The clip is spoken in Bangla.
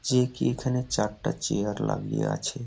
যে কি এখানে চারটা চেয়ার লাগিয়ে আছে।